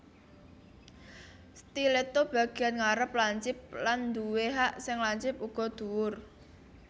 Stiletto Bagian ngarep lancip lan duwé hak sing lancip uga dhuwur